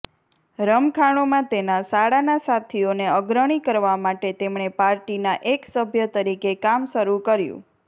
રમખાણોમાં તેના શાળાના સાથીઓને અગ્રણી કરવા માટે તેમણે પાર્ટીના એક સભ્ય તરીકે કામ શરૂ કર્યું